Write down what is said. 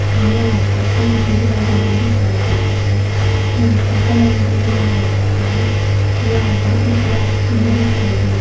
यहां पर पंखे भी लगे हुए दिखाई देते हैं। यहां पर कलेंडर भी लगा हुआ है। यहां पर कुछ व्यक्ति भी दिखाई दे र --